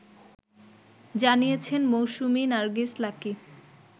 জানিয়েছেন মৌসুমি নারগিস লাকী